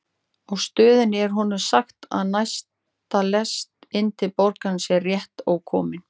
Á stöðinni er honum sagt að næsta lest inn til borgarinnar sé rétt ókomin.